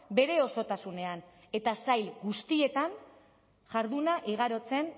bere osotasunean eta sail guztietan jarduna igarotzen